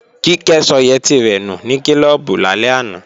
Kíkẹ́ sọ yẹtí rẹ̀ nù ní klọ́ọ̀bù lálẹ́ àná